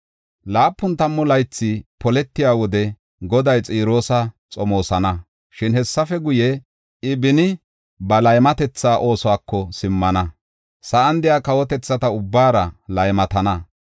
Laapun tammu laythay poletiya wode, Goday Xiroosa xomoosana. Shin hessafe guye, I beni ba laymatetha oosuwako simmana; sa7an de7iya kawotethata ubbaara laymatana.